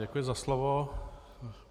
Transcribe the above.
Děkuji za slovo.